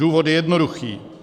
Důvod je jednoduchý.